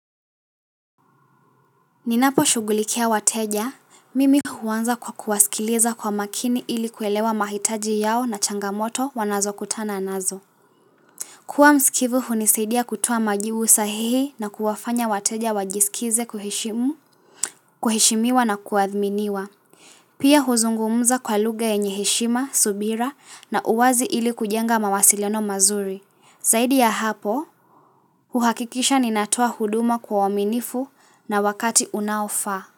Ninaposhughulikia wateja, mimi huanza kwa kuwasikiliza kwa makini ili kuelewa mahitaji yao na changamoto wanazokutana nazo. Kuwa msikivu hunisaidia kutoa majibu sahihi na kuwafanya wateja wajiskize kuheshimu, kuheshimiwa na kuathminiwa. Pia huzungumza kwa lugha yenye heshima, subira na uwazi ili kujenga mawasiliano mazuri. Zaidi ya hapo, huhakikisha ninatoa huduma kwa uaminifu na wakati unaofaa.